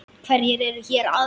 Hverjir eru hér aðrir?